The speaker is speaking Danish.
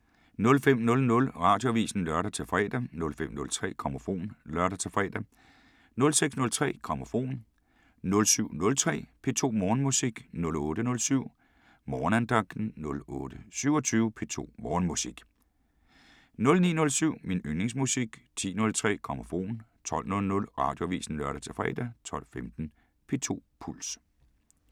05:00: Radioavisen (lør-fre) 05:03: Grammofon (lør-fre) 06:03: Grammofon 07:03: P2 Morgenmusik 08:07: Morgenandagten 08:27: P2 Morgenmusik 09:07: Min yndlingsmusik 10:03: Grammofon 12:00: Radioavisen (lør-fre) 12:15: P2 Puls